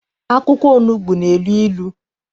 Akwụkwọ onugbu na- elu ilu.